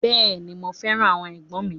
Beeni, mo feran awon egbon mi.